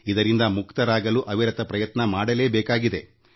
ಇದರಿಂದ ಹೊರಬರಲು ಅವಿರತ ಪ್ರಯತ್ನ ಮಾಡಬೇಕಾಗುತ್ತದೆ